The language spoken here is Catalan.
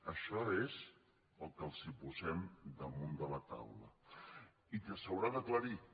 això és el que els posem damunt de la taula i que s’haurà d’aclarir